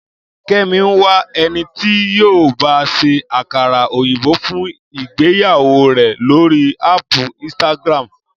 Kẹ́mi ń wá ẹni tí yóò ba ṣé àkàrà òyìnbó fún ìgbéyàwó rẹ̀ lórí áàpù Instagram